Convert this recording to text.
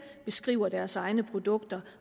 beskriver deres egne produkter